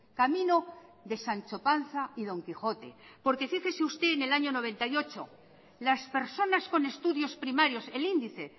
camino de sancho panza y don quijote porque fíjese usted en el año mil novecientos noventa y ocho las personas con estudios primarios el índice